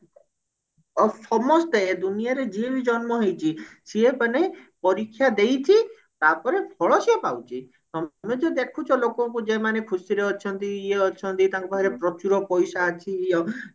ଆଉ ସମସ୍ତେ ଏଇ ଦୁନିଆ ରେ ଯିଏ ବି ଜନ୍ମ ହେଇଛି ସିଏ ମାନେ ପରୀକ୍ଷା ଦେଇଛି ତାପରେ ଫଳ ସିଏ ପାଉଛି ତମେ ଯଉ ଦେଖୁଛ ଲୋକଙ୍କୁ ଯଉମାନେ ଖୁସିରେ ଅଛନ୍ତି ଇଏ ଅଛନ୍ତି ତାଙ୍କ ପାଖରେ ପ୍ରଚୁର ପଇସା ଅଛି ଇଏ ଅଛି ଇଏ